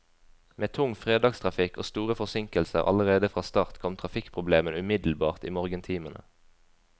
Med tung fredagstrafikk og store forsinkelser allerede fra start kom trafikkproblemene umiddelbart i morgentimene.